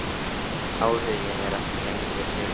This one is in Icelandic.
Áhuginn er ekki lengur fyrir hendi.